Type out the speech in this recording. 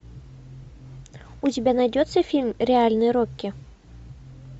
у тебя найдется фильм реальный рокки